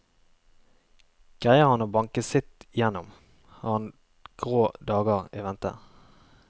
Greier han å banke sitt gjennom, har han grå dagar i vente.